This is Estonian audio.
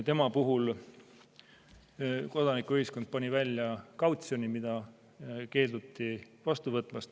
Tema puhul kodanikuühiskond pani välja kautsjoni, mida keelduti vastu võtmast.